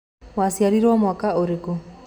Waciarirwo mwaka ũrĩku?